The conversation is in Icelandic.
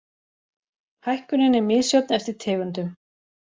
Hækkunin er misjöfn eftir tegundum